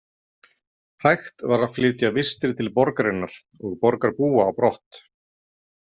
Hægt var að flytja vistir til borgarinnar og borgarbúa á brott.